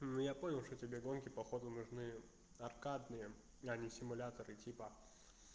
ну я понял что тебе гонки походу нужны аркадные а не симуляторы типа